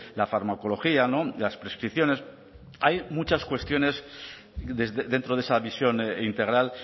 la farmacología las prescripciones hay muchas cuestiones dentro de esa visión integral